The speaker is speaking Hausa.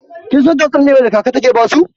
Kin san tatsuniyar da kaka take basu?